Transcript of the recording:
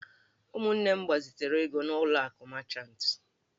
Ụmụnne m gbazitere ego n'ụlọ akụ mechantị.